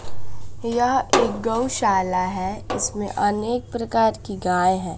यह एक गौशाला है इसमें अनेक प्रकार की गाय हैं।